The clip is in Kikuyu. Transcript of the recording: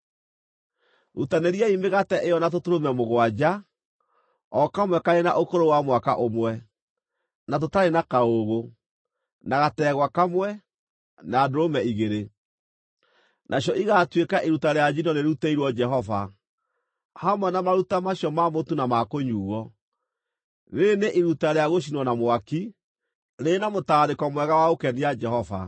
Rutanĩriai mĩgate ĩyo na tũtũrũme mũgwanja, o kamwe karĩ na ũkũrũ wa mwaka ũmwe, na tũtarĩ na kaũũgũ, na gategwa kamwe, na ndũrũme igĩrĩ. Nacio igaatuĩka iruta rĩa njino rĩrutĩirwo Jehova, hamwe na maruta macio ma mũtu na ma kũnyuuo, rĩĩrĩ nĩ iruta rĩa gũcinwo na mwaki, rĩrĩ na mũtararĩko mwega wa gũkenia Jehova.